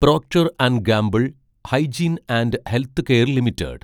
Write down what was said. Procter & Gamble hygiene and health care limited